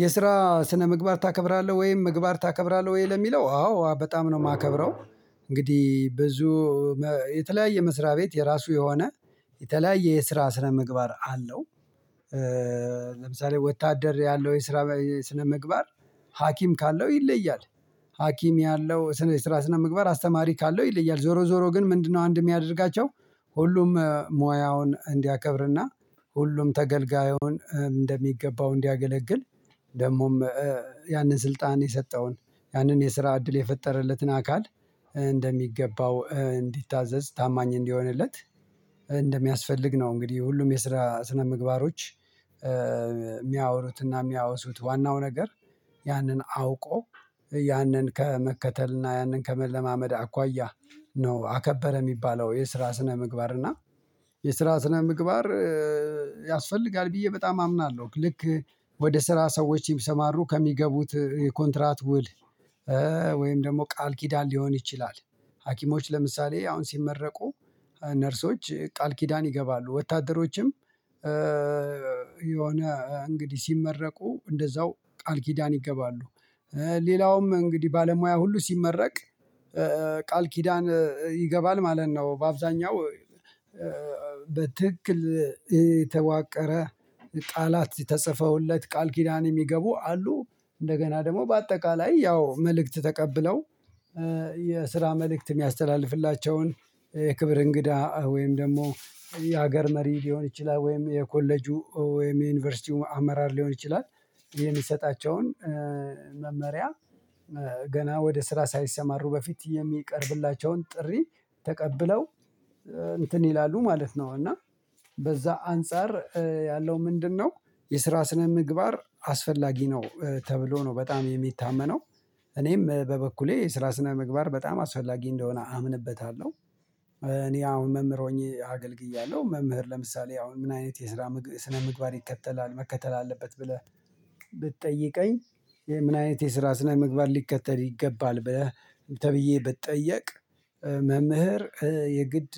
የስራ ስነምግባር ታከብራለህ ወይም ምግባር ታከብራለህ ወይ? ለሚለው አዎ በጣም ነው የማከብረው እንግዲህ ብዙ የተለያየ መስሪያ ቤት የራሱ የሆነ የተለያየ የስራ ስረ ምግባር አለው። ለምሳሌ ወታደር ያለው የስራ ስነምግባር ሀኪም ካለው ይለያል። ሀኪም ያለው ስነ ስራ ስነ ምግባር አስተማሪ ካለው ይለያል። ዞሮ ዞሮ ግን ምንድነው አንድ የሚያደርጋቸው ሁሉም ሙያውን እንዲያከብርና ሁሉም ተገልጋዩን እንደሚገባው እንዲያገለግል ደግሞም ያንን ስልጣን የሰጠውን ያንን የስራ እድል የፈጠረለትን አካል እንደሚገባው እንዲታዘዝ ታማኝ እንዲሆንለት እንደሚያስፈልግ ነው እንግዲህ ሁሉም የስራ ስነምግባሮች የሚያወሩትና የሚያወሱት። ዋናው ነገር ያንን አውቆ ያንን ከመከተልና ያንን ከመለማመድ አኳያ ነው አከበረ የሚባለው የስራ ስነ ምግባር እና የስራ ስነ ምግባር ያስፈልጋል ብዬ በጣም አምናለሁ። ልክ ወደ ስራ ሰዎች ቢምሰማሩ ከሚገቡት የኮንትራት ውል ወይም ደግሞ ቃል ኪዳን ሊሆን ይችላል ሀኪሞች ለምሳሌ አሁን ሲመረቁ ነርሶች ቃል ኪዳን ይገባሉ ወታደሮችም የሆነ እንግዲህ ሲመረቁ እንደዛው ቃል ኪዳን ይገባሉ። ሌላውም እንግዲህ ባለሙያ ሁሉ ሲመረቅ ቃል ኪዳን ይገባል ማለት ነው። በአብዛኛው በትክክል የተዋቀረ ቃላት ተጽፈውለት ቃል ኪዳን የሚገቡ አሉ። እንደገና ደግሞ በአጠቃላይ ያው መልእክት ተቀብለው የስራ መልእክት የሚያስተላልፍላቸውን የክብር እንግዳ ወይም ደግሞ የሀገር መሪ ሊሆን ይችላል ወይም የኮሌጁ ወይም የዩኒቨርሲቲ አመራር ሊሆን ይችላል የሚሰጣቸውን መመሪያ ገና ወደ ስራ ሳይሰማሩ በፊት የሚቀርብላቸውን ጥሪ ተቀብለው እንትን ይላሉ ማለት ነው እና በዛ አንፃር ያለው ምንድነው የስራ ስነ ምግባር አስፈላጊ ነው ተብሎ ነው በጣም የሚታመነው እኔም በበኩሌ ስራ ስነምግባር በጣም አስፈላጊ እንደሆነ አምንበታለሁ። እኔ አሁን መምህር ሆኜ አገልግያለሁ። መምህር ለምሳሌ አሁን ምን አይነት የስራ ስነምግባር ይከተላል መከተል አለበት ብለህ ብትጠይቀኝ ምን አይነት የስራ ስነ ምግባር ሊከተል ይገባል ብለህ ተብዬ ብጠየቅ መምህር የግድ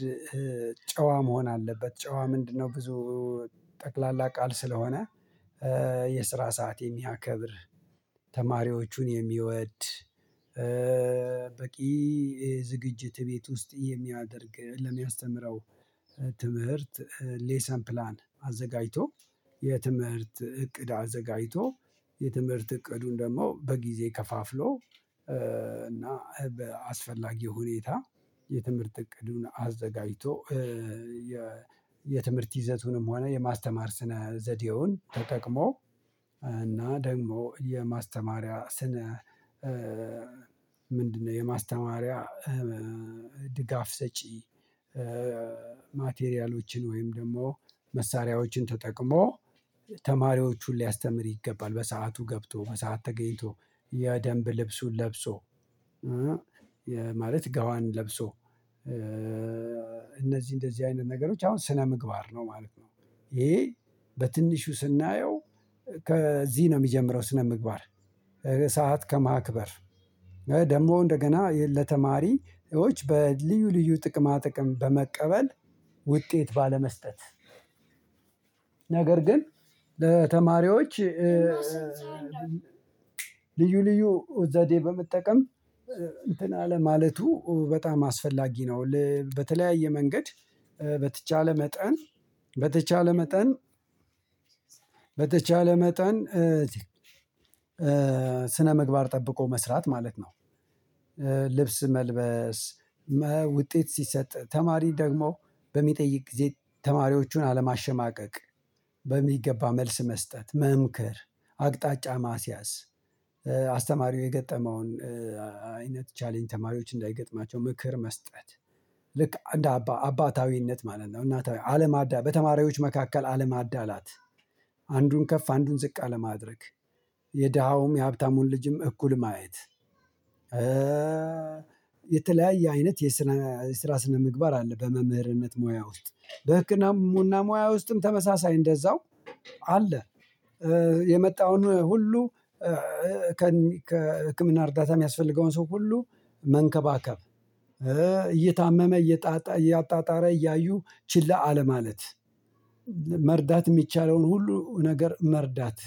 ጨዋ መሆን አለበት ጨዋ ምንድነው ብዙ ጠቅላላ ቃል ስለሆነ የስራ ሰዓት የሚያከብር፣ ተማሪዎቹን የሚወድ፣ በቂ ዝግጅት ቤት ውስጥ የሚያደርግ ለሚያስተምረው ትምህርት ሌሰን ፕላን አዘጋጅቶ የትምህርት እቅድ አዘጋጅቶ፤ የትምህርት እቅዱን ደግሞ በጊዜ ከፋፍሎ እና በአስፈላጊ ሁኔታ የትምህርት እቅዱን አዘጋጅቶ የትምህርት ይዘቱንም ሆነ የማስተማር ስነ ዘዴውን ተጠቅሞ እና ደግሞ የማስተማሪያ ስነ ምንድነው የማስተማሪያ ድጋፍ ሰጪ ማቴሪያሎችን ወይም ደግሞ መሳሪያዎችን ተጠቅሞ ተማሪዎቹን ሊያስተምር ይገባል በሰአቱ ገብቶ በሰአት ተገኝቶ የደንብ ልብሱን ለብሶ ማለት ጋዋን ለብሶ እነዚህ እንደዚህ አይነት ነገሮች አሁን ስነ ምግባር ነው ማለት ነው። ይሄ በትንሹ ስናየው ከዚህ ነው የሚጀምረው ስነ ምግባር ሰዓት ከማክበር ደግሞ እንደገና ለተማሪዎች በልዩ ልዩ ጥቅማ ጥቅም በመቀበል ውጤት ባለመስጠት ነገር ግን በተማሪዎች ልዩ ልዩ ዘዴ በመጠቀም እንትን አለ ማለቱ በጣም አስፈላጊ ነው። በተለያየ መንገድ በተቻለ መጠን በተቻለ መጠን ስነምግባር ጠብቆ መስራት ማለት ነው። ልብስ መልበስ፣ ውጤት ሲሰጥ ተማሪ ደግሞ በሚጠይቅ ጊዜ ተማሪዎቹን አለማሸማቀቅ፣ በሚገባ መልስ መስጠት፣ መምክር አቅጣጫ ማስያዝ፣ አስተማሪው የገጠመውን ቻሌንጅ ተማሪዎች እንዳይገጥማቸው ምክር መስጠት፣ ልክ አንድ አባታዊነት ማለት ነው እናታዊ አለማዳ በተማሪዎች መካከል አለማዳላት አንዱን ከፍ አንዱን ዝቅ አለማድረግ የደሃውም የሀብታሙን ልጅም እኩል ማየት የተለያየ አይነት የስነ የስራ ስነ ምግባር አለ በመምህርነት ሙያ ውስጥ። በህክምና ሙያ ውስጥም ተመሳሳይ እንደዛው አለ። የመጣውን ሁሉ ከህክምና እርዳታ የሚያስፈልገውን ሰው ሁሉ መንከባከብ እየታመመ እየጣጣ እያጣጣረ እያዩ ችላ አለማለት መርዳት የሚቻለውን ሁሉ ነገር መርዳት